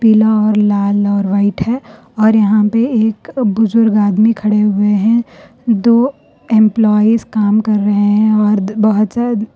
لاہور لال اور وائٹ ہے اور یہاں پہ ایک بزرگ ادمی کھڑے ہوئے ہیں دو ایمپلائیز کام کر رہے ہیں اور بہت --